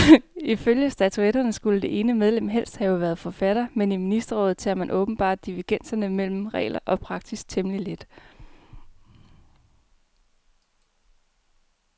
Ifølge statutterne skulle det ene medlem helst have været forfatter, men i ministerrådet tager man åbenbart divergenser mellem regler og praksis temmelig let.